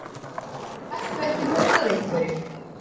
Gastu ekki mútað einhverjum?